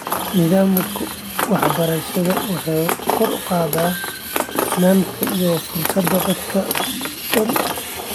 Nidaamka waxbarashada waxa uu kor u qaadaa sinnaanta iyo fursadda dadka oo dhan.